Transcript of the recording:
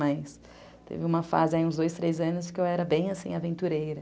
Mas teve uma fase aí, uns dois, três anos, que eu era bem assim, aventureira.